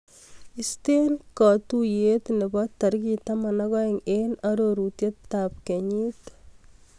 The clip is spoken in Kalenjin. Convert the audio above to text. Istee katuiyet nebo tarik taman ak aeng eng arorutab kenyit.